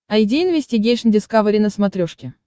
айди инвестигейшн дискавери на смотрешке